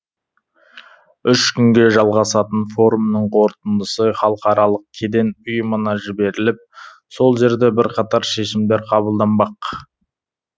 үш күнге жалғасатын форумның қорытындысы халықаралық кеден ұйымына жіберіліп сол жерде бірқатар шешімдер қабылданбақ